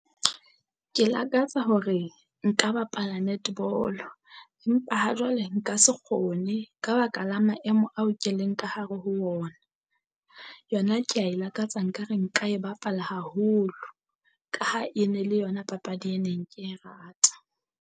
Ke lakatsa hore nka bapala netball-o, empa ha jwale nka se kgone ka baka la maemo ao ke leng ka hare ho ona. Yona kea e lakatsa nka re nka e bapala haholo ka ha e ne le yona papadi e neng ke e rata.